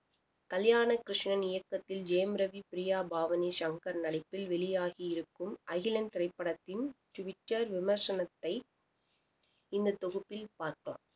கல்யாண கிருஷ்ணன் இயக்கத்தில் ஜெயம் ரவி பிரியா பாவனிசங்கர் நடிப்பில் வெளியாகி இருக்கும் அகிலன் திரைப்படத்தின் டுவிட்டர் விமர்சனத்தை இந்த தொகுப்பில் பார்ப்போம்